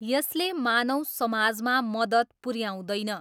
यसले मानव समाजमा मद्दत पुऱ्याउँदैन।